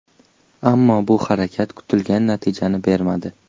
Ammo, bu harakat kutilgan natijani bermadi.